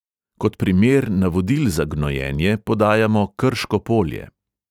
Kot primer navodil za gnojenje podajamo krško polje.